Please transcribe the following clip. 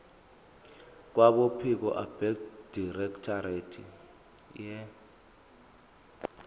kwabophiko abedirectorate ye